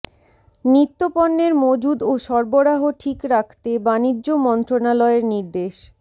নিত্যপণ্যের মজুদ ও সরবরাহ ঠিক রাখতে বাণিজ্য মন্ত্রণালয়ের নির্দেশ